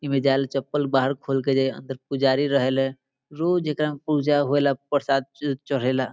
इ मे जाय लेल चप्पल बाहर खोल के जे अंदर पुजारी रहेले रोज एकरा में पूजा होएला प्रसाद च चढ़ेला।